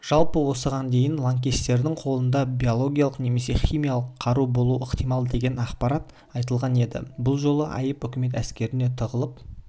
жалпы осыған дейін лаңкестердің қолында биологиялық немесе химиялық қару болуы ықтимал деген ақпарат айтылған еді бұл жолы айып үкімет әскеріне тағылып